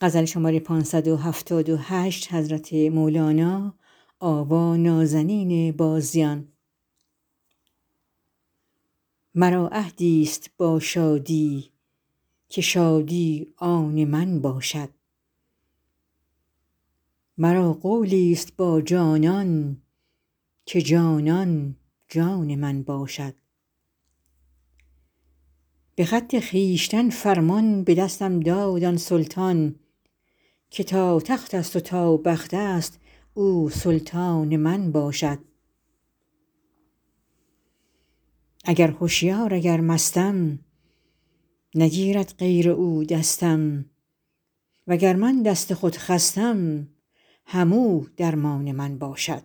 مرا عهدیست با شادی که شادی آن من باشد مرا قولیست با جانان که جانان جان من باشد به خط خویشتن فرمان به دستم داد آن سلطان که تا تختست و تا بختست او سلطان من باشد اگر هشیار اگر مستم نگیرد غیر او دستم وگر من دست خود خستم همو درمان من باشد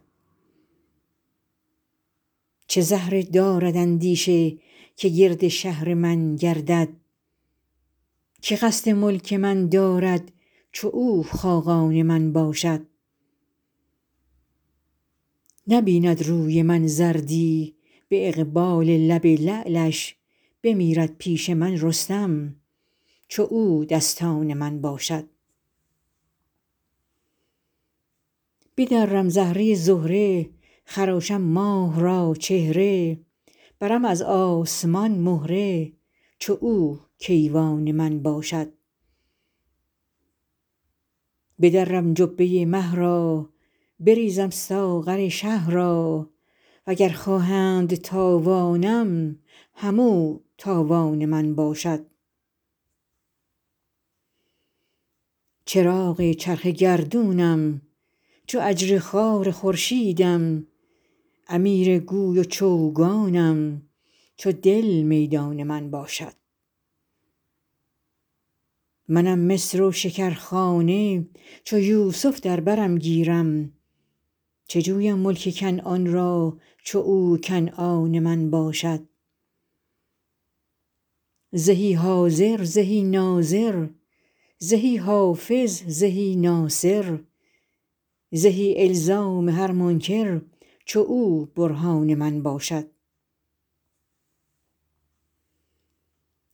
چه زهره دارد اندیشه که گرد شهر من گردد که قصد ملک من دارد چو او خاقان من باشد نبیند روی من زردی به اقبال لب لعلش بمیرد پیش من رستم چو او دستان من باشد بدرم زهره زهره خراشم ماه را چهره برم از آسمان مهره چو او کیوان من باشد بدرم جبه مه را بریزم ساغر شه را وگر خواهند تاوانم همو تاوان من باشد چراغ چرخ گردونم چو اجری خوار خورشیدم امیر گوی و چوگانم چو دل میدان من باشد منم مصر و شکرخانه چو یوسف در برم گیرد چه جویم ملک کنعان را چو او کنعان من باشد زهی حاضر زهی ناظر زهی حافظ زهی ناصر زهی الزام هر منکر چو او برهان من باشد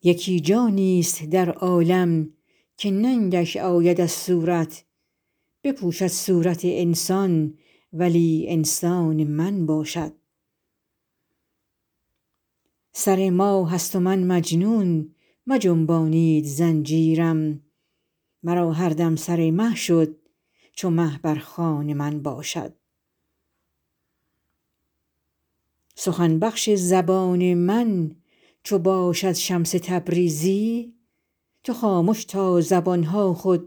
یکی جانیست در عالم که ننگش آید از صورت بپوشد صورت انسان ولی انسان من باشد سر ماهست و من مجنون مجنبانید زنجیرم مرا هر دم سر مه شد چو مه بر خوان من باشد سخن بخش زبان من چو باشد شمس تبریزی تو خامش تا زبان ها خود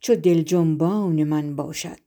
چو دل جنبان من باشد